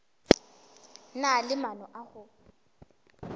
na le maano a go